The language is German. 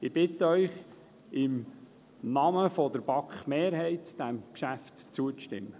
Ich bitte Sie im Namen der BaK-Mehrheit, diesem Kreditgeschäft zuzustimmen.